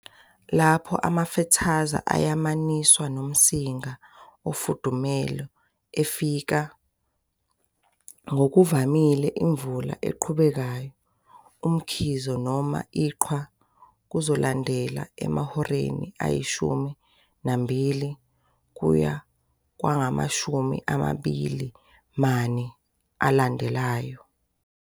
Lapho amafethaza ayamaniswa nomsinga ofudumele efika, ngokuvamile imvula eqhubekayo, umkhizo, noma iqhwa kuzolandela emahoreni ayishumi nambili, 12, kuya kwangamashumi amabili name, 24, alandelayo.